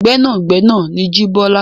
Gbẹ́nàgbẹnà ni Jíbọ́lá.